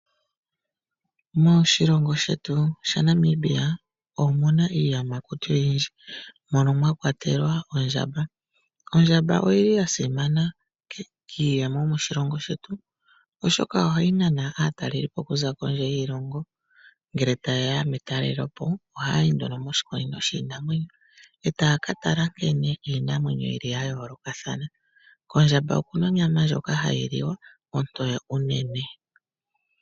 Moshilongo shetu shaNamibia omu na iiyamakuti oyindji mono mwa kwatelwa ondjamba. Ondjamba oyi li ya simana kiiyemo moshilongo shetu, oshoka ohayi nana aatalelipo okuza kondje yiilongo. Ngele taye ya metalelopo ohaya yi nduno moshikunino shiinamwenyo e taya ka tala nkene iinamwenyo yi li ya yoolokathana. Kondjamba oku na onyama ndjoka hayi liwa, ontoye unene.